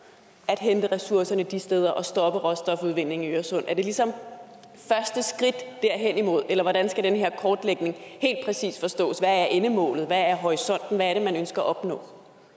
at hente ressourcerne de steder og stoppe råstofudvindingen i øresund er det ligesom første skridt derhenimod eller hvordan skal den her kortlægning helt præcis forstås hvad er endemålet hvad er horisonten hvad er det man ønsker at opnå